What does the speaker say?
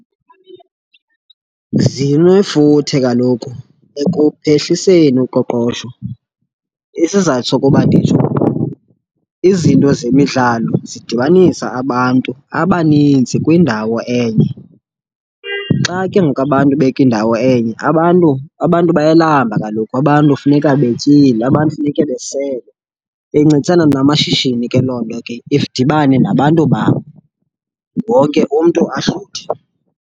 Zilifuthe kaloku ekuphehliseni uqoqosho. Isizathu sokuba nditsho, izinto zemidlalo zidibanisa abantu abaninzi kwindawo enye. Xa ke ngoku abantu bekindawo enye abantu, abantu bayalamba kaloku. Abantu funeka betyile, abantu funeke besele, bencedisana namashishini ke loo nto ke. Sidibane nabantu bam, wonke umntu ahluthe.